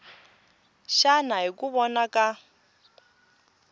xana hi ku vona ka